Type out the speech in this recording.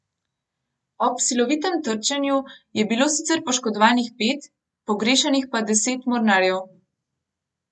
Ob silovitem trčenju je bilo sicer poškodovanih pet, pogrešanih pa deset mornarjev.